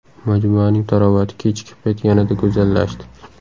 Majmuaning tarovati kechki payt yanada go‘zallashdi.